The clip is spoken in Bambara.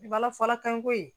Ala fɔla kan ko ye